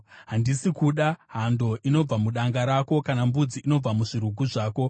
Handisi kuda hando inobva mudanga rako, kana mbudzi inobva muzvirugu zvako,